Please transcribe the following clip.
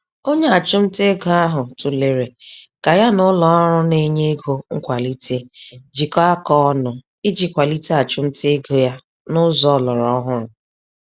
Onye achumtaego ahụ tụlere ka ya n'ụlọọrụ na-enye ego nkwalite jikọọ aka ọnụ, iji kwalite achumtaego ya nụzọ ọlọrọ ọhụrụ.